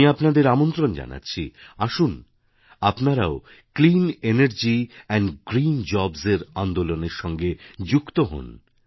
আমি আপনাদের আমন্ত্রণ জানাচ্ছি আসুন আপনারাও ক্লিনানার্জি এন্ড গ্রীন জবস এর আন্দোলনের সঙ্গে যুক্ত হোন